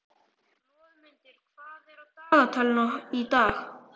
Loðmundur, hvað er á dagatalinu í dag?